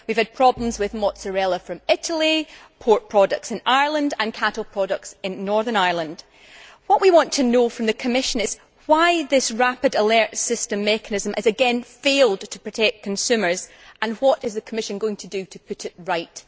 We have had problems with mozzarella from Italy, pork products in Ireland and cattle products in Northern Ireland. What we want to know from the Commission is why this rapid alert system has again failed to protect consumers, and what the Commission is going to do to put it right.